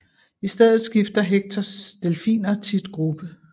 I stedet skifter Hectors delfiner tit gruppe